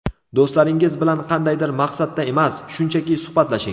Do‘stlaringiz bilan qandaydir maqsadda emas, shunchaki suhbatlashing.